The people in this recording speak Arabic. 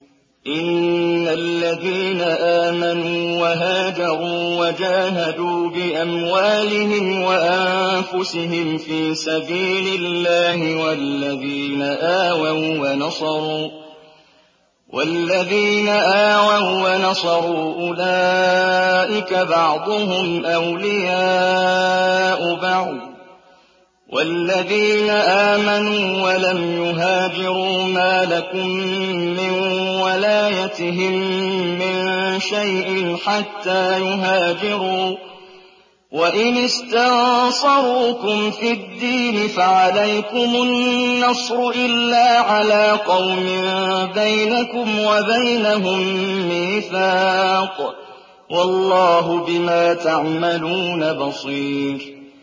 إِنَّ الَّذِينَ آمَنُوا وَهَاجَرُوا وَجَاهَدُوا بِأَمْوَالِهِمْ وَأَنفُسِهِمْ فِي سَبِيلِ اللَّهِ وَالَّذِينَ آوَوا وَّنَصَرُوا أُولَٰئِكَ بَعْضُهُمْ أَوْلِيَاءُ بَعْضٍ ۚ وَالَّذِينَ آمَنُوا وَلَمْ يُهَاجِرُوا مَا لَكُم مِّن وَلَايَتِهِم مِّن شَيْءٍ حَتَّىٰ يُهَاجِرُوا ۚ وَإِنِ اسْتَنصَرُوكُمْ فِي الدِّينِ فَعَلَيْكُمُ النَّصْرُ إِلَّا عَلَىٰ قَوْمٍ بَيْنَكُمْ وَبَيْنَهُم مِّيثَاقٌ ۗ وَاللَّهُ بِمَا تَعْمَلُونَ بَصِيرٌ